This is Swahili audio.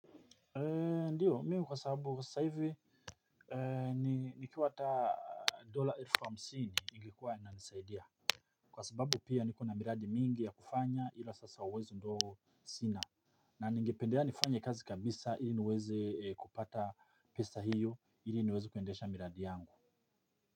Ndiyo mimi kwa sababu sa hivi nikipata dolar elfu hamsini ingekuwa inanisaidia. Kwa sababu pia niko na miradi mingi ya kufanya ila sasa uwezo ndo huo sina. Na ningipendelea nifanye kazi kabisa ili niweze kupata pesa hiyo ili niweze kuendesha miradi yangu.